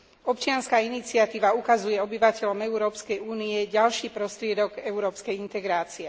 Občianska iniciatíva ukazuje obyvateľom Európskej únie ďalší prostriedok európskej integrácie.